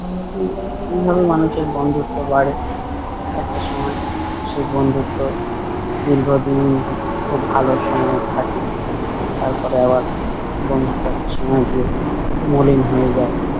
উম এইভাবে মানুষের বন্ধুত্ব বাড়ে একটা সময় সেই বন্ধুত্ব দীর্ঘদিন খুব ভালো সময়ের থাকে। তারপরে আবার বন্ধুত্ব একটা সময়ে গিয়ে মলিন হয়ে যায়।